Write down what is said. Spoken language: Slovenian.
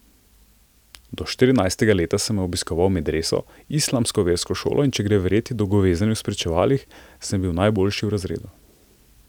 Do štirinajstega leta sem obiskoval medreso, islamsko versko šolo, in če gre verjeti dolgovezenju v spričevalih, sem bil najboljši v razredu.